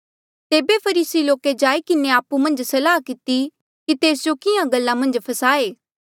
तेबे फरीसी लोके जाई किन्हें आपु मन्झ सलाह किती कि तेस जो किहाँ गल्ला मन्झ फसाए